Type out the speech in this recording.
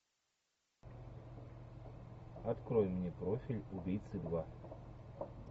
открой мне профиль убийцы два